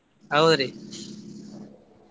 ಹೌದ್ರಿ .